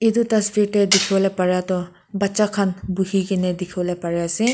etu dasvir te dekhibo para toh bacha khan bohekena dekhibo bari ase.